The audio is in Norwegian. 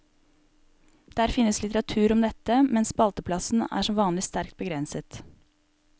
Der finnes litteratur om dette, men spalteplassen er som vanlig sterkt begrenset.